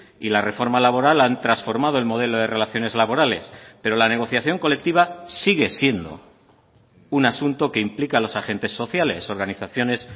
y la reforma laboral han transformado el modelo de relaciones laborales pero la negociación colectiva sigue siendo un asunto que implica a los agentes sociales organizaciones